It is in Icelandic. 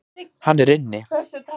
Hann er inni.